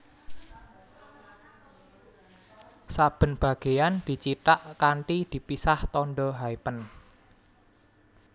Saben bagéyan dicithak kanthi dipisah tandha hyphen